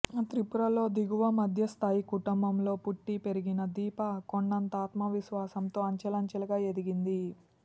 త్రిపురలో దిగువ మధ్యస్థాయి కుటుంబంలో పుట్టి పెరిగిన దీప కొండంత ఆత్మవిశ్వాసంతో అంచెలంచెలుగా ఎదిగింది